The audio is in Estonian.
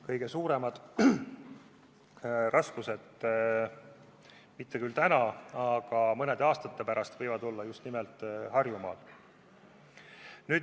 Kõige suuremad raskused – mitte küll täna, aga mõne aasta pärast – võivad ilmneda justnimelt Harjumaal.